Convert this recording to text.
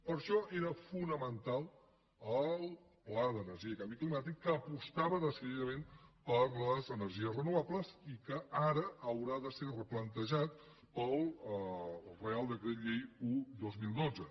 per això era fonamental el pla d’energia i canvi climàtic que apostava decididament per les energies renovables i que ara haurà de ser replantejat pel reial decret llei un dos mil dotze